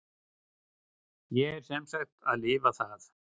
Ég er sem sagt að lifa það.